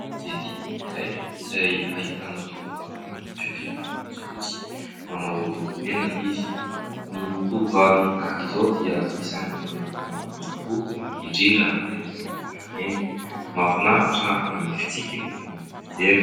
Gazety iray izay ahitana tovovavy manana fihodirana fotsifotsy, manao lokomena izy, ny tovovavy tahaka izao dia isany manintona ny maso tokoa indrindra rehefa eny an-dàlana eny, mahafinaritra na ny fitsikiny na ny fijeriny.